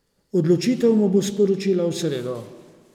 Odločitev mu bo sporočila v sredo.